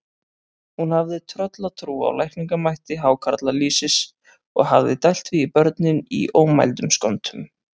Hún hafði tröllatrú á lækningamætti hákarlalýsis og hafði dælt því í börnin í ómældum skömmtum.